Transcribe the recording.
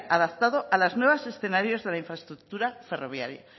adaptado a los nuevos escenarios de la infraestructura ferroviaria